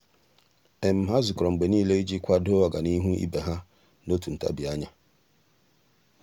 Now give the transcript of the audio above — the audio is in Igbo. há zùkọ́rọ́ mgbe nìile iji kwàdòọ́ ọ́gànihu ibe ha n’òtù ntabi anya.